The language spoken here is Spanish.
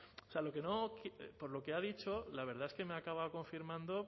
o sea por lo que ha dicho la verdad es que me acaba confirmando